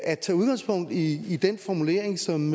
at tage udgangspunkt i i den formulering som